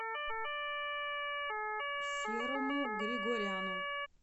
серому григоряну